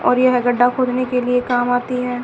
और यह गड्ढा खोदने के लिए काम आती है।